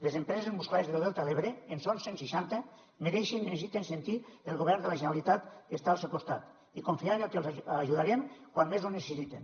les empreses musclaires del delta de l’ebre en són cent seixanta mereixen i necessiten sentir que el govern de la generalitat està al seu costat i confiar en que els ajudarem quan més ho necessiten